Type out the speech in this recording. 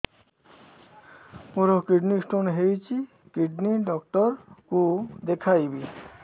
ମୋର kidney stone ହେଇଛି kidney doctor କୁ ଦେଖାଇବି